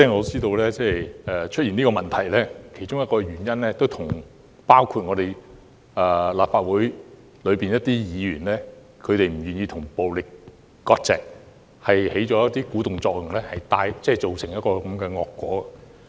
事實上，出現上述問題的其中一個原因，就是部分立法會議員不願意與暴力割席，因而起了鼓動作用，造成當前的惡果。